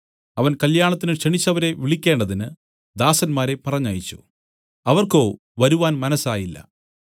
അവൻ കല്യാണത്തിന് ക്ഷണിച്ചവരെ വിളിക്കേണ്ടതിന് ദാസന്മാരെ പറഞ്ഞയച്ചു അവർക്കോ വരുവാൻ മനസ്സായില്ല